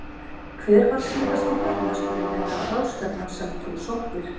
Hver var síðasti fyrirlesturinn eða ráðstefnan sem þú sóttir?